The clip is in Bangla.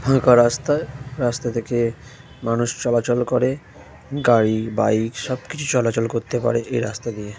ফাঁকা রাস্তায় রাস্তা থেকে মানুষ চলাচল করে। গাড়ি বাইক সবকিছু চলাচল করতে পারে এই রাস্তা দিয়ে--